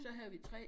Så havde vi 3